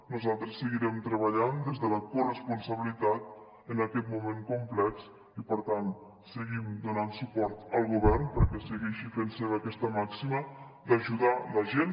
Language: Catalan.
nosaltres seguirem treballant des de la corresponsabilitat en aquest moment complex i per tant seguim donant suport al govern perquè segueixi fent seva aquesta màxima d’ajudar la gent